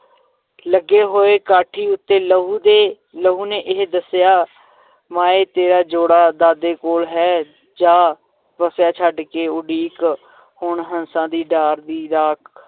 ਲੱਗੇ ਹੋਏ ਕਾਠੀ ਉਤੇ ਲਹੂ ਦੇ ਲਹੂ ਨੇ ਇਹ ਦੱਸਿਆ ਮਾਏਂ ਤੇਰਾ ਜੋੜਾ ਦਾਦੇ ਕੋਲ ਹੈ ਜਾ ਵੱਸਿਆ, ਛੱਡ ਦੇ ਉਡੀਕ ਹੁਣ ਹੰਸਾਂ ਦੀ ਡਾਰ ਦੀ, ਰਾਖ